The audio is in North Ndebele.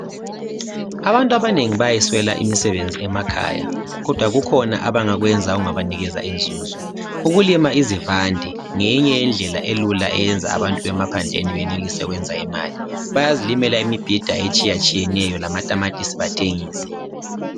Abantu abanengi bayayiswela imisebenzi emakhaya. Kodwa kukhona abangakwenza okungabanikeza inzuzo. Ukulima izivande ngeyinye yendlela elula eyenza abantu bemaphandleni benelise ukwenza imali. Bayazilimela imibhida etshiyatshiyeneyo lamatamatisi bathengise.